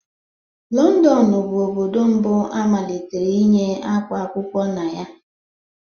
Lọndọnu bụ Obodo mbu amalitere iyi ákwá akwụkwọ na ya.